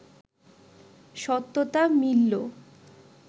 সত্যতা মিললো